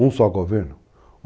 Um só governo?